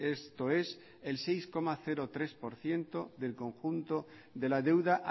esto es el seis coma tres por ciento del conjunto de la deuda